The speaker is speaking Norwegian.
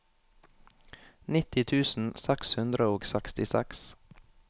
nitti tusen seks hundre og sekstiseks